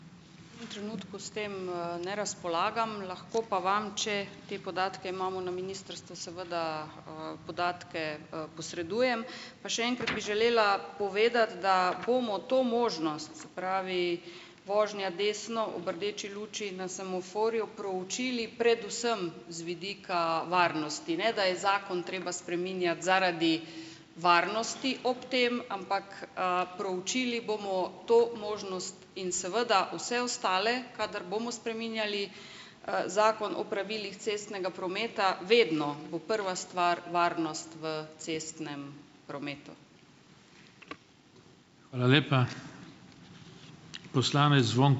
Tem trenutku s tem, ne razpolagam, lahko pa vam, če te podatke imamo na ministrstvu, seveda, podatke, posredujem. Pa še enkrat bi želela povedati, da bomo to možnost, se pravi vožnja desno ob rdeči luči na semaforju, proučili predvsem z vidika varnosti. Ne da je zakon treba spreminjati zaradi varnosti ob tem, ampak, proučili bomo to možnost in seveda vse ostale, kadar bomo spreminjali, zakon o pravilih cestnega prometa. Vedno bo prva stvar varnost v cestnem prometu.